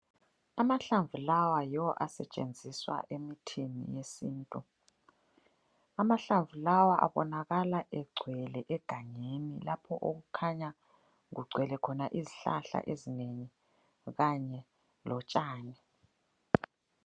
Amahlamvu lawa yiwo asetshenziswa emithini yesintu. Amahlamvu lawa abonakala egcwele egangeni lapho okukhanya kugcwele khona izihlahla ezinengi kanye lotshani.